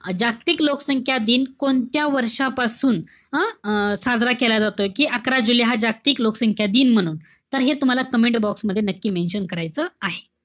जागतिक लोकसंख्या दिन कोणत्या वर्षांपासून हं? साजरा केला जातोय. कि अकरा जुलै हा जागतिक लोकसंख्या दिन म्हणून. तर हे तुम्हाला comment box मध्ये नक्की mention करायचं आहे.